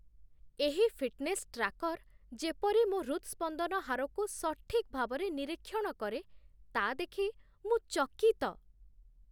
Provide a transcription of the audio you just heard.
ଏହି fitness tracker ଯେପରି ମୋ ହୃତ୍‌ସ୍ପନ୍ଦନ ହାରକୁ ସଠିକ୍ ଭାବରେ ନିରୀକ୍ଷଣ କରେ, ତା' ଦେଖି ମୁଁ ଚକିତ